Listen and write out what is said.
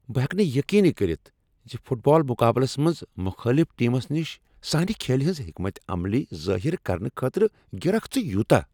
بہٕ ہیکہٕ نہٕ یقینٕی کٔرتھ زِ فٹ بال مقابلس منٛز مخٲلف ٹیمس نش سانِہ کھیلِ ہٕنز حکمت عملی ظٲہر کرنہٕ خٲطرٕ گِریکھ ژٕ یوتاہ ۔